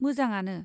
मोजाङानो।